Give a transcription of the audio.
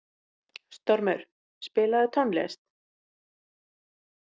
Stormur, spilaðu tónlist.